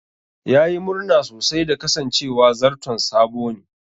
Ya yi murna sosai da kasancewa zarton sabo ne.